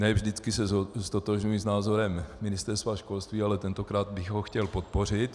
Ne vždy se ztotožňuji s názorem Ministerstva školství, ale tentokrát bych ho chtěl podpořit.